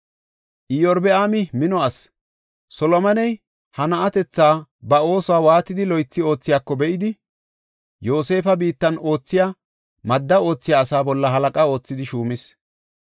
Iyorbaami mino asi; Solomoney ha na7atethay ba oosuwa waatidi loythi oothiyako be7idi, Yoosefa biittan oothiya madda oothiya asaa bolla halaqa oothidi shuumis.